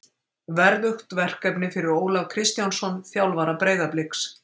Verðugt verkefni fyrir Ólaf Kristjánsson, þjálfara Breiðabliks.